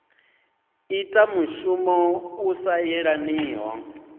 ita mushumo u sa yelaniho